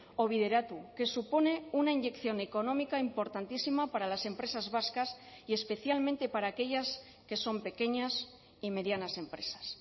o bideratu que supone una inyección económica importantísima para las empresas vascas y especialmente para aquellas que son pequeñas y medianas empresas